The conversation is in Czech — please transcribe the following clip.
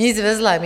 Nic ve zlém.